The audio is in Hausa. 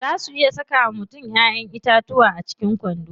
Zaa su iya saka wa mutum Ƴaƴan itatuwa a cikin kwando.